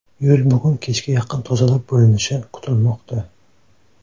Yo‘l bugun kechga yaqin tozalab bo‘linishi kutilmoqda.